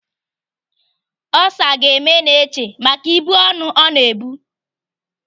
Olsa ga-eme Neche maka ibu ọnụ ọ na-ebu.